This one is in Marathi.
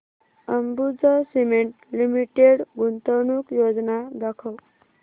अंबुजा सीमेंट लिमिटेड गुंतवणूक योजना दाखव